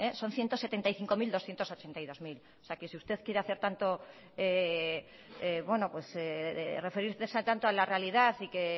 son ciento setenta y cinco mil doscientos ochenta y dos mil o sea que usted quiere hacer tanto bueno pues referirse tanto a la realidad y que está